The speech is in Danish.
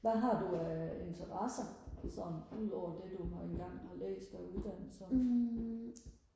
hvad har du af interesser sådan udover det du har engang har læst af uddannelser